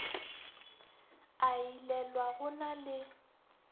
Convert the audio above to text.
a ilelwa go na le